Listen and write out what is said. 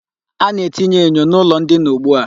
A na-etinye enyo n'ụlọ ndina ugbua.